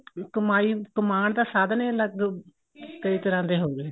ਕਮਾਈ ਕਮਾਨ ਦਾ ਸਾਧਨ ਏ ਅਲੱਗ ਕਈ ਤਰ੍ਹਾਂ ਦੇ ਹੋਗੇ